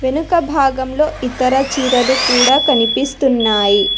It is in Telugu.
వెనుక భాగంలో ఇతర చీరలు కూడా కనిపిస్తున్నాయి.